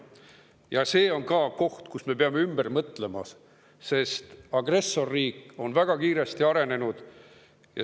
See on ka koht, kus me peame asjad ümber mõtlema, sest agressorriik on väga kiiresti arenenud.